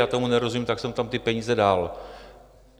Já tomu nerozumím, tak jsem tam ty peníze dal."